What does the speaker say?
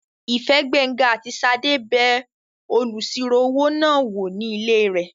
Ìfẹ́, Gbénga àti Ṣadé bẹ olùsirò-owó náà wò ní ilé rẹ̀